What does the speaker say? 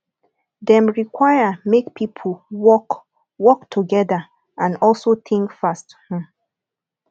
dem require make pipo work work together and also think fast um